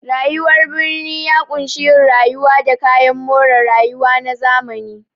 Rayuwar birni ya ƙunshi yin rayuwa da kayan more rayuwa na zamani.